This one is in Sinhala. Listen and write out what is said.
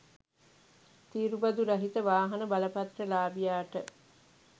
තීරු බදු රහිත වාහන බලපත්‍රලාභියාට